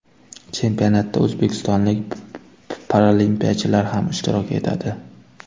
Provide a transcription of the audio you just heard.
Chempionatda o‘zbekistonlik paralimpiyachilar ham ishtirok etadi.